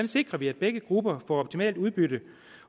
sikrer vi at begge grupper får optimalt udbytte